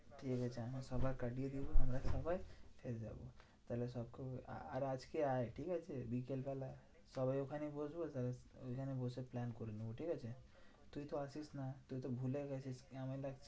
ঠিকাছে আমরা সবার কাটিয়ে দেব আমরা সবাই ফের যাবো। আর তাহলে আর আজকে আয় ঠিকাছে? বিকেলবেলা সবাই ওখানে বসবো সবাই ঐখানে বসে plan করে নেবো, ঠিকাছে? তুই তো আসিস না তুই তো ভুলে গেছিস কি